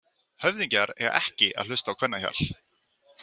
Höfðingjar eiga ekki að hlusta á kvennahjal.